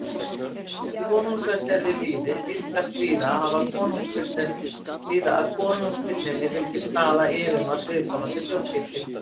Þar sem konungsveldi er við lýði, tíðkast víða að konungstigninni fylgi staða yfirmanns viðkomandi þjóðkirkju.